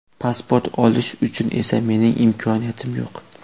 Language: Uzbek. Pasport olish uchun esa mening imkoniyatim yo‘q.